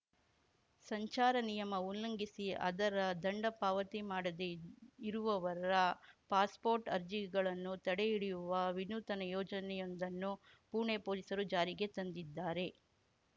ಸಂಚಾರ ನಿಯಮ ಉಲ್ಲಂಘಿಸಿ ಅದರ ದಂಡ ಪಾವತಿ ಮಾಡದೇ ಇರುವವರ ಪಾಸ್ಪೋರ್ಟ್‌ ಅರ್ಜಿಗಳನ್ನು ತಡೆ ಹಿಡಿಯುವ ವಿನೂತನ ಯೋಜನೆಯೊಂದನ್ನು ಪುಣೆ ಪೊಲೀಸರು ಜಾರಿಗೆ ತಂದಿದ್ದಾರೆ